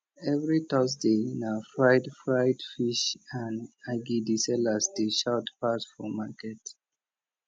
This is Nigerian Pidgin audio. every thursday na fried fried fish and agidi sellers dey shout pass for market